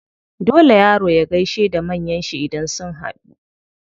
Dole yaro ya gaishe da manyan shi idan sun haɗu.